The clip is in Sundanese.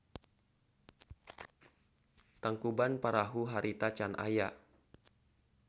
Tangkuban Parahu harita can aya.